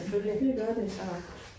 Det gør det